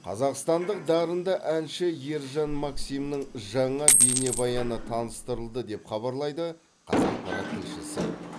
қазақстандық дарынды әнші ержан максимнің жаңа бейнебаяны таныстырылды деп хабарлайды қазақпарат тілшісі